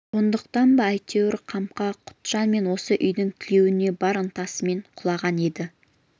сондықтан ба әйтеуір қамқа құтжан мен осы үйдің тілеуіне бар ынтасымен құлаған еді